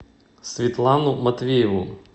светлану матвееву